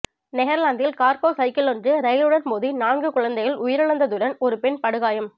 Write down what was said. நெதர்லாந்தில் கார்கோ சைக்கிளொன்று ரயிலுடன் மோதி நான்கு குழந்தைகள் உயிரிழந்துள்ளதுடன் ஒரு பெண் படுகாய